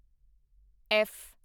F